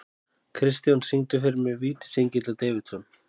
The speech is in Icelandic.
Kristjón, syngdu fyrir mig „Vítisengill á Davidson“.